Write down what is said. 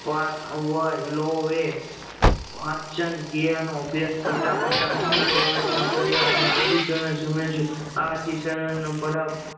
વાચ ઓ એં વચન ક્રિયા નો અભ્યાશ કરતા કરતા અન્ય કોઈ અર્ધી સરણ સમજ્યું આ રડી સરન